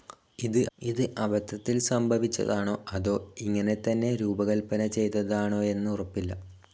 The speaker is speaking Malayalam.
ഇത് അബദ്ധത്തിൽ സംഭവിച്ചതാണോ അതോ ഇങ്ങനെത്തന്നെ രൂപകൽപന ചെയ്തതാണോയെന്നുറപ്പില്ല.